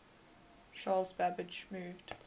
charles babbage moved